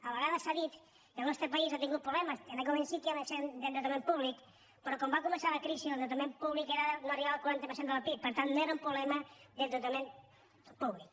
a vegades s’ha dit que el nostre país ha tingut problemes en aquest moment sí que hi ha un excés d’endeutament públic però quan va començar la cri·si l’endeutament públic no arribava al quaranta per cent del pib per tant no era un problema d’endeutament pú·blic